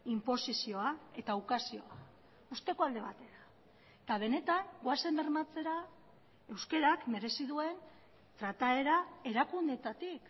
inposizioa eta ukazioa usteko alde batera eta benetan goazen bermatzera euskarak merezi duen trataera erakundeetatik